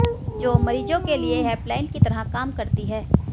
जो मरीजों के लिए हेल्प लाइन की तरह काम करती हैं